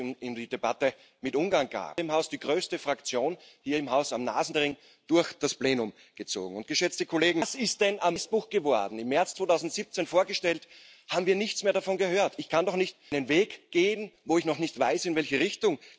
dla wielu jest istotny jako potwierdzenie zdolności sprawczej Unii Europejskiej i przewidywalność finansowania. Ale zaufanie lub brak zaufania rozstrzyga się w sferze szeroko rozumianego bezpieczeństwa i to jest najważniejsza agenda najbliższych dziewięciu miesięcy.